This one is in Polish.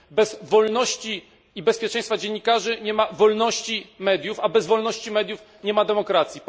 Bez wolności i bezpieczeństwa dziennikarzy nie ma wolności mediów, a bez wolności mediów nie ma demokracji.